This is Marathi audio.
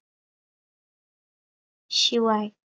शिवाय